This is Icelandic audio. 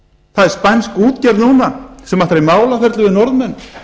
það er spænsk útgerð núna sem ætlar í málaferli við norðmenn